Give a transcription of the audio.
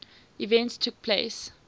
events took place